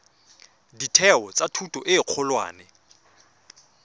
ditheo tsa thuto e kgolwane